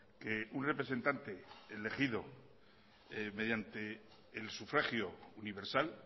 que un representante elegido mediante el sufragio universal